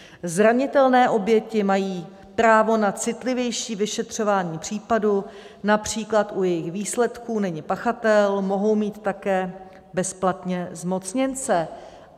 Zranitelné oběti mají právo na citlivější vyšetřování případu, například u jejich výslechu není pachatel, mohou mít také bezplatně zmocněnce.